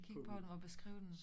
Kigge på dem og beskriver dem